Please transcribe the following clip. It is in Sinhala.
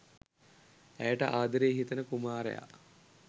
ඇයට ආදරේ හිතෙන කුමාරයා